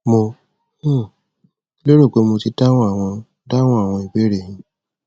mo um lérò pé mo ti dáhùn àwọn dáhùn àwọn ìbéèrè e yín